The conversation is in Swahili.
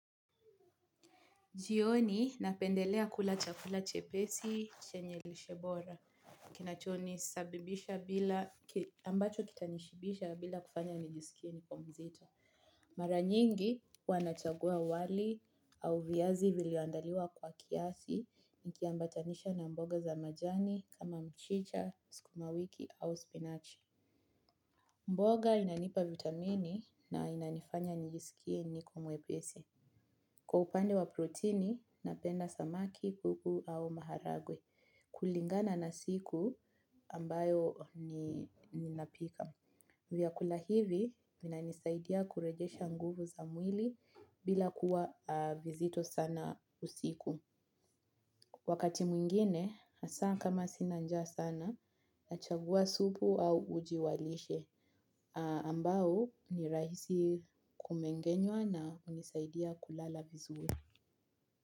Jioni napendelea kula chakula chepesi, chenye lishe bora. Ambacho kitanishibisha bila kunifanya nijiskie niko mzito. Mara nyingi huwa nachagua wali au viazi vilivyoandaliwa kwa kiasi, nikiambatanisha na mboga za majani kama mchicha, sukumawiki au spinach. Mboga inanipa vitamini na inanifanya nijisikie niko mwepesi. Kwa upande wa proteini, napenda samaki, pupu au maharagwe. Kulingana na siku ambayo ninapika. Vyakula hivi vinanisaidia kurudisha nguvu za mwili bila kuwa nzito sana usiku. Wakati mwingine, hasa kama sina njaa sana, nachagua supu au uji wa lishe. Ambao ni rahisi kumeng'enywa na hunisaidia kulala vizuri.